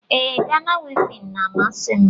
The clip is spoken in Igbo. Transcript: Ee, Ghana wivin n'amasi m